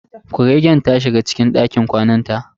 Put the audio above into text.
Kuregen ta shiga cikin dakin kwanan ta.